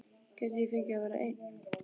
Gæti ég fengið að vera einn?